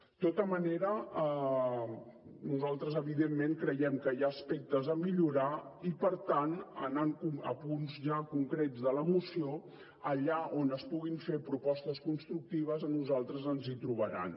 de tota manera nosaltres evidentment creiem que hi ha aspectes a millorar i per tant anant ja a punts concrets de la moció allà on es puguin fer propostes constructives a nosaltres ens hi trobaran